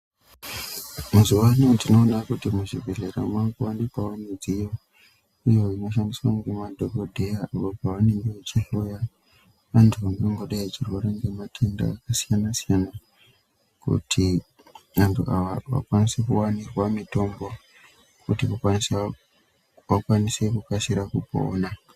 Mazuva anaya tinoona kuti muzvibhedlera makuvanikwavo midziyo iyo inoshandiswa ngemadhogodheya apo pavangadai vachihloya vantu vangadai vachirwara ngematenda akasiyana-siyana. Kuti vantu ana vakwanise kuvanikwa mitombo kuti vakwanise vakasire kupona.